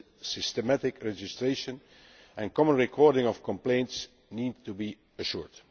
A systematic registration and common recording of complaints need to be assured.